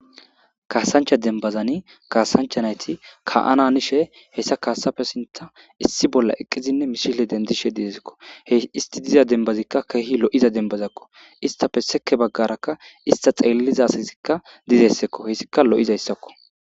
Kaasancha dembbazani kaasancha nayti ka7ana hanishe hessa kaasape sinththan issi bolla eqidinne misile dendishe de7eeskko. He esti diza dembazika keehi lo7iza dembbazako. Esttappe sekki bagarakka estta xeeliza asatikka dizayssako hessika lo7izayssako.